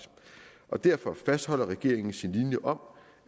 og derfor fastholder regeringen sin linje om